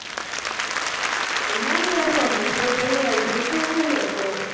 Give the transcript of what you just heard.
முன்னாடி ஏறுவாங்க. சின்னப் பிள்ளையிலே ஏறிருப்பே, இப்ப ஏறுவியாக்கும்?